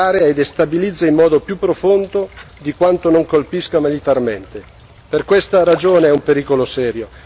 L'azione dell'ISIS accresce la confusione nell'area e destabilizza in modo più profondo di quanto non colpisca militarmente.